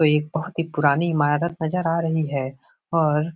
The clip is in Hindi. तो एक बहोत ही पुरानी इमारत नजर आ रही है और --